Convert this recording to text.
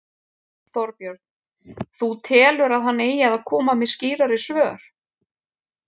Þorbjörn: Þú telur að hann eigi að koma með skýrari svör?